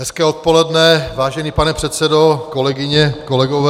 Hezké odpoledne, vážený pane předsedo, kolegyně, kolegové.